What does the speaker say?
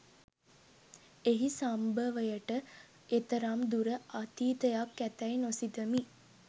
එහි සම්භවයට එතරම් දුර අතීතයක් ඇතැයි නොසිතමි